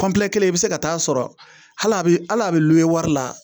kelen i be se ka taa sɔrɔ hal'a be al'a be wari la